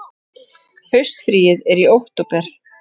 Haustfríið er í október.